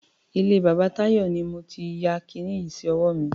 Ilé bàbá Táyọ̀ ni mo ti ya kiní yìí sí ọwọ́ mi.